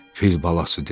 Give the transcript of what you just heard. fil balası dedi.